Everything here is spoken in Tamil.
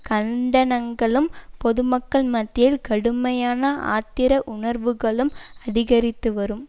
கண்டனங்களும் பொதுமக்கள் மத்தியில் கடுமையான ஆத்திர உணர்வுகளும் அதிகரித்துவரும்